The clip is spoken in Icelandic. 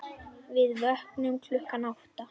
Við vöknum klukkan átta.